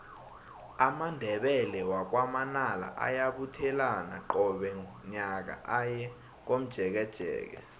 amandebele wakwa manala ayabuthelana qobe nyaka aye komjekejeke